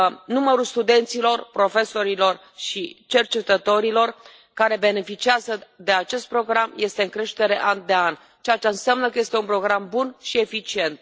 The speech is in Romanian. Numărul studenților, profesorilor și cercetătorilor care beneficiază de acest program este în creștere an de an, ceea ce înseamnă că este un program bun și eficient.